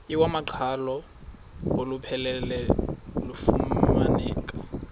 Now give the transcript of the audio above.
iwamaqhalo olupheleleyo lufumaneka